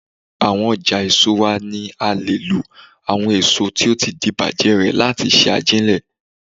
Awọn ọjà èso wa ni a lè lo àwọn èso tó ti di bàjé rè láti ṣe ajílẹ̀.